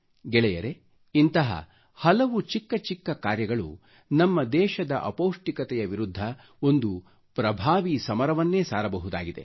ಗೆಳೆಯರೆ ಇಂತಹ ಹಲವು ಚಿಕ್ಕಚಿಕ್ಕ ಕಾರ್ಯಗಳು ನಮ್ಮ ದೇಶದ ಅಪೌಷ್ಟಿಕತೆ ವಿರುದ್ಧ ಒಂದು ಪ್ರಭಾವಿ ಸಮರವನ್ನೇ ಸಾರಬಹುದಾಗಿದೆ